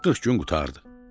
40 gün qurtardı.